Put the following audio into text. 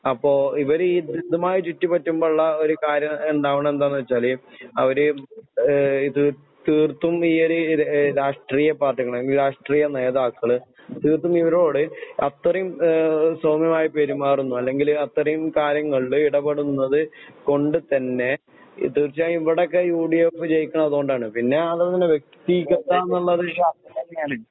അപ്പോ ഇവരിതുമായി ചുറ്റിപറ്റുമ്പോള്ള ഒരു കാര്യം ണ്ടാവണതെന്താന്നുവെച്ചാല് അവരിതു തീർത്തും ഈയൊരു രാഷ്ട്രീയ പാർട്ടികള് രാഷ്ട്രീയനേതാക്കള് തീർത്തുമിവരോട് അത്രയും സൗമ്യമായി പെരുമാറുന്നു അല്ലെങ്കില് അത്രയും കാര്യങ്ങളിലിടപെടുന്നത് കൊണ്ടുതന്നെ തീർച്ചയായും ഇവടൊക്കെ യുഡിഎഫ് ജയിക്കണത് അതുകൊണ്ടാണ് പിന്നേ അതുതന്നെ വ്യക്തി